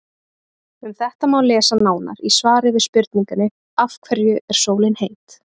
Um þetta má lesa nánar í svari við spurningunni Af hverju er sólin heit?.